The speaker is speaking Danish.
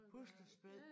Puslespil?